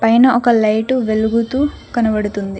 పైన ఒక లైటు వెలుగుతూ కనబడుతుంది.